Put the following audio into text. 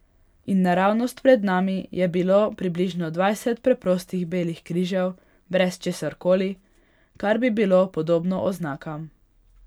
In naravnost pred nami je bilo približno dvajset preprostih belih križev brez česarkoli, kar bi bilo podobno oznakam.